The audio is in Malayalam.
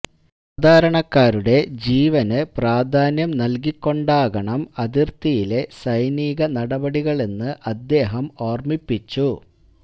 സാധാരണക്കാരുടെ ജീവന് പ്രാധാന്യം നല്കിക്കൊണ്ടാകണം അതിര്ത്തിയിലെ സൈനിക നടപടികളെന്ന് അദ്ദേഹം ഓര്മ്മിപ്പിച്ചു